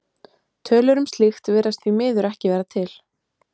Tölur um slíkt virðast því miður ekki vera til.